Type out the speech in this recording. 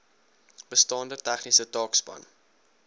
bestaande besighede taakspan